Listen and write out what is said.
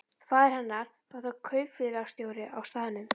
Faðir hennar var þá kaupfélagsstjóri á staðnum.